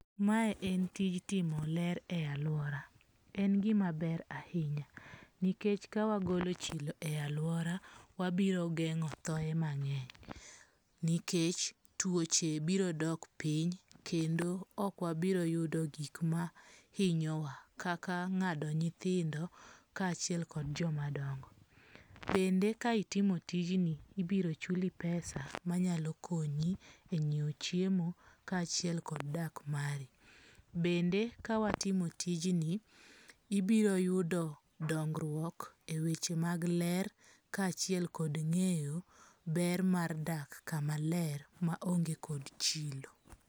Mae en tij timo ler e aluora. En gima ber ahinya. Nikech ka wagolo chilo e aluora, wabiro geng'o thoe mang'eny. Nikech tuoche biro dok piny kendo okwabiro yudo gik ma hinyowa, kaka ng'ado nyithindo ka achiel kod joma dongo. Bende ka itimo tijni, ibiro chuli pesa manyalo konyi e nyiew chiemo ka achiel kod dak mari. Bende ka watimo tijni ibiro yudo dongruok e weche mag ler ka achiel kod ng'eyo ber mar dak kamaler ma onge kod chilo.